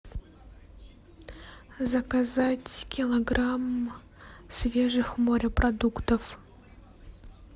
заказать килограмм свежих морепродуктов